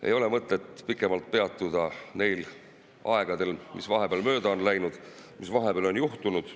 Ei ole mõtet pikemalt peatuda neil aegadel, mis vahepeal mööda on läinud, sellel, mis vahepeal on juhtunud.